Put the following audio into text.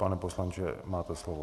Pane poslanče, máte slovo.